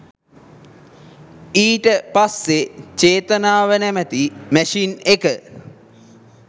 ඊට පස්සේ චේතනාව නැමැති මැෂින් එක